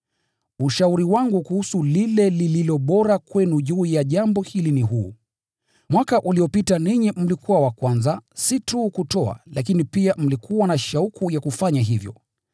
Ushauri wangu kuhusu lile lililo bora kwenu juu ya jambo hili ni huu: Mwaka uliopita ninyi mlikuwa wa kwanza si tu kutoa lakini pia mlikuwa na shauku ya kufanya hivyo.